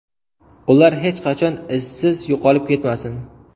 Ular hech qachon izsiz yo‘qolib ketmasin.